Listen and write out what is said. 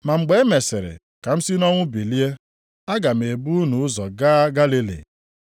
Ma mgbe e mesịrị ka m si nʼọnwụ bilie, aga m ebu unu ụzọ gaa Galili.”